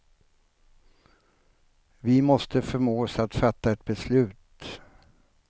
Vi måste förmås att fatta ett beslut.